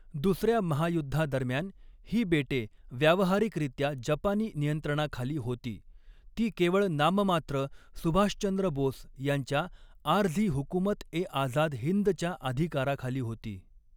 दुसऱ्या महायुद्धादरम्यान, ही बेटे व्यावहारिकरित्या जपानी नियंत्रणाखाली होती, ती केवळ नाममात्र सुभाषचंद्र बोस यांच्या आरझी हुकुमत ए आझाद हिंदच्या अधिकाराखाली होती.